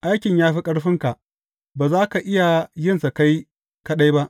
Aikin ya fi ƙarfinka; ba za ka iya yinsa kai kaɗai ba.